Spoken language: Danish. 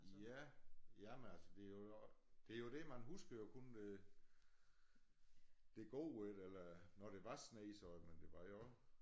Ja jamen altså det jo det jo det man husker jo kun det det gode i det eller når der var sne så men det var jo også